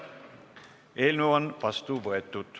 Eelnõu on vastu võetud.